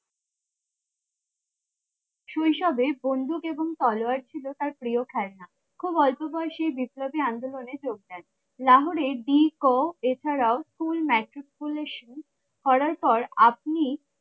শৈশবে বন্দুক এবং তলোয়ার ছিল তার প্রিয় খেলনা খুব অল্প বয়সেই বিপ্লবী আন্দোলনে যোগ দেন লাহোর এছাড়াও করার পর আপনি